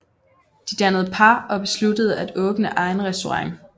De dannede par og besluttede at åbne egen restaurant